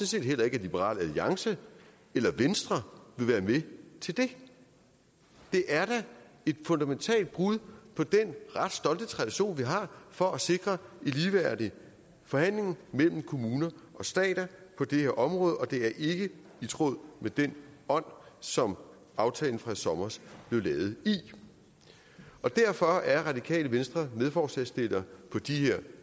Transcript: set heller ikke at liberal alliance eller venstre vil være med til det det er da et fundamentalt brud på den ret stolte tradition vi har for at sikre en ligeværdig forhandling mellem kommuner og stat på det her område og det er ikke i tråd med den ånd som aftalen fra i sommer blev lavet i og derfor er radikale venstre medforslagsstillere på de her